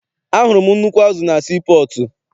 Ahụrụ m nnukwu azụ na sii pọọtụ.